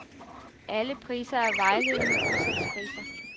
Alle priser er vejledende udsalgspriser.